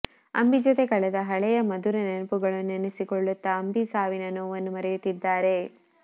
ಅಂಬಿ ಜೊತೆ ಕಳೆದ ಹಳೆಯ ಮಧುರ ನೆನಪುಗಳನ್ನ ನೆನಸಿಕೊಳ್ಳುತ್ತಾ ಅಂಬಿ ಸಾವಿನ ನೋವನ್ನ ಮರೆಯುತ್ತಿದ್ದಾರೆ